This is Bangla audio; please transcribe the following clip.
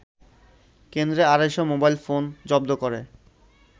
কেন্দ্রে আড়াইশ মোবাইলফোন জব্দ করে